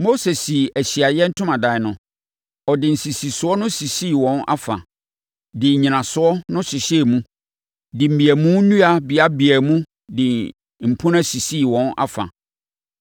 Mose sii Ahyiaeɛ Ntomadan no; ɔde nsisisoɔ no sisii wɔn afa, de nnyinasoɔ no hyehyɛɛ mu de mmeamu nnua beabeaa mu de mpunan sisii wɔn afa.